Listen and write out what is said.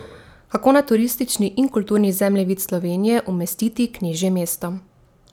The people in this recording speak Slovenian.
Kako na turistični in kulturni zemljevid Slovenije umestiti knežje mesto?